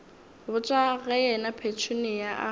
botša ge yena petunia a